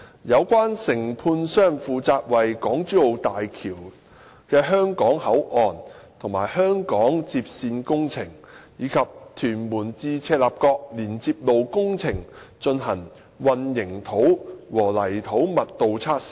有關承判商負責為港珠澳大橋的香港口岸及香港接線工程，以及屯門至赤鱲角連接路工程進行混凝土和泥土密度測試。